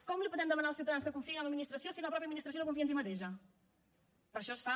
com podem demanar als ciutadans que confiïn en l’administració si la mateixa administració no confia en si mateixa per això es fa